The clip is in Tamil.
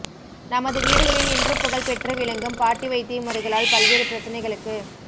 நமது வீடுகளில் இன்றும் புகழ்பெற்று விளங்கும் பாட்டி வைத்திய முறைகளால் பல்வேறு பிரச்சனைகளுக்கு